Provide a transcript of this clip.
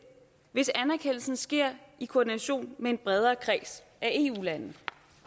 hvis anerkendelsen sker i koordination med en bredere kreds af eu lande